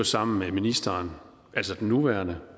sammen med ministeren altså den nuværende